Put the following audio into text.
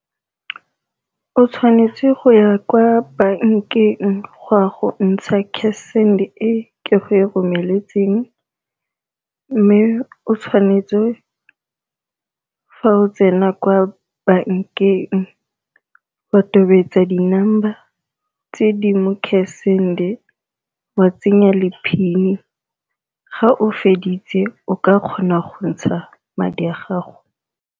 O tshwanetse go ya kwa bankeng go ya go ntsha cash send-e ke go romeletseng, mme o tshwanetse fa o tsena kwa bankeng wa tobetsa di-number tse di mo cash send-e wa tsenya le PIN ga o feditse o ka kgona go ntsha madi a gago.